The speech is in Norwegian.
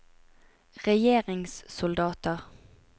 regjeringssoldater